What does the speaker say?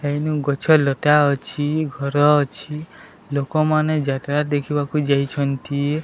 ଏନୁ ଗଛଲତା ଅଛି ଘର ଅଛି ଲୋକମାନେ ଯାତ୍ରା ଦେଖିବାକୁ ଯାଇଛନ୍ତି।